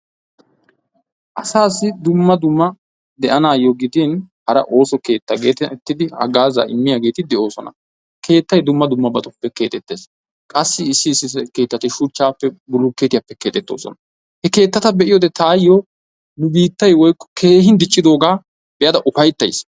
Asaassi dumma dumma be'anaayyo gidin hara ooso keetta geetettidi haggaazaa immiyageeti de'oosona keettay dumma dummabatuppe keexettees qassi issi issi keettati shuchchaappe bulukkeetiyappe keexettoosona. He keettata be'iyode taayyo nu biittayi woykko keehin diccidoogaa be'ada ufayttayis.